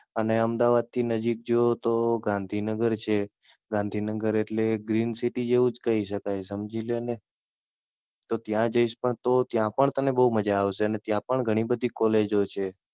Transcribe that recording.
અને અમદાવાદ થી નજીક જો તો ગાંધીનગર છે, ગાંધીનગર એટલે Green City જ કહી શકાય સમજી લ્યો ને. તો ત્યાં જઈશ તો ત્યાં પણ તને બઉ મજા આવશે, ત્યાં પણ ઘણી બધી કોલેજો છે,